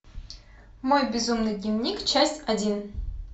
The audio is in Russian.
мой безумный дневник часть один